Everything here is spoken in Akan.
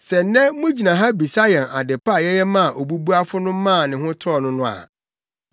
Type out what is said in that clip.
Sɛ nnɛ mugyina ha bisa yɛn ade pa a yɛyɛ maa obubuafo no maa ne ho tɔɔ no no a,